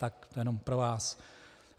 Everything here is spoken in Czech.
Tak to jenom pro vás.